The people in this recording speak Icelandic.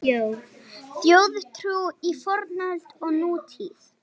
Þjóðtrú í fornöld og nútíð